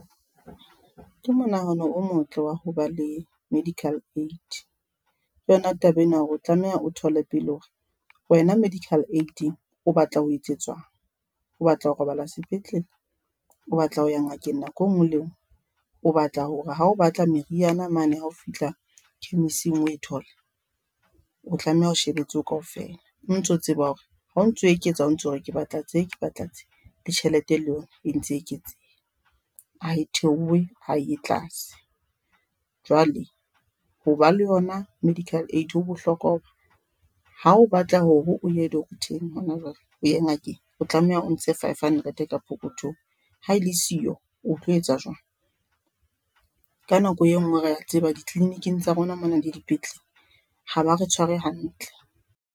Ke monahano o motle wa hoba le medical aid. Ke yona taba ena hore o tlameha o thole pele hore wena medical aid-ing o batla ho etsetswang, o batla ho robala sepetlele, o batla ho ya ngakeng nako enngwe le enngwe, o batla hore ha o batla meriana mane ha o fihla chemist-ing o e thole, o tlameha o shebe tseo kaofela o ntso tseba hore ha o ntso eketsa o ntso re, ke batla tse ke batla tse. Le tjhelete le yona e ntse e eketseha ha e theohe ha e ye tlase jwale, hoba le yona medical aid ho bohlokwa hoba ha o batla hore o ye doctor-eng hona jwale o ye ngakeng, o tlameha o ntshe five hundred ka pokothong. Ha ele siyo, o tlo etsa jwang? Ka nako e nngwe re a tseba di-clinic-ing tsa rona mona le dipetlele ha ba re tshware hantle.